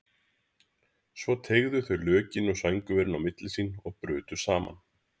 Svo teygðu þau lökin og sængurverin á milli sín og brutu saman.